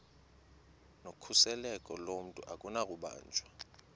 nokhuseleko lomntu akunakubanjwa